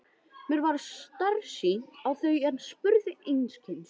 Mér varð starsýnt á þau en spurði einskis.